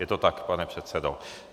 Je to tak, pane předsedo?